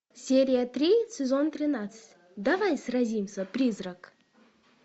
серия три сезон тринадцать давай сразимся призрак